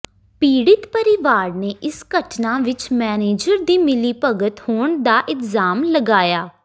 ਪੀੜਿਤ ਪਰਿਵਾਰ ਨੇ ਇਸ ਘਟਨਾ ਵਿੱਚ ਮੈਨੇਜਰ ਦੀ ਮਿਲੀਭਗਤ ਹੋਣ ਦਾ ਇਲਜ਼ਾਮ ਲਗਾਇਆ